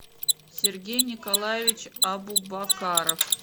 сергей николаевич абубакаров